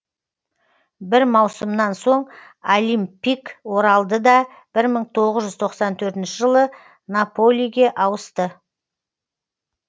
бір маусымнан соң олимпикк оралды да бір мың тоғыз жүз тоқсан төрт жылы наполиге ауысты